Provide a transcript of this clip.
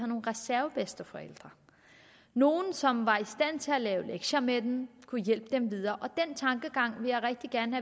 nogle reservebedsteforældre nogle som var i stand til at lave lektier med dem kunne hjælpe dem videre den tankegang vil jeg rigtig gerne